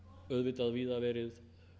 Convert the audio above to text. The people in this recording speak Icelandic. auðvitað víða verið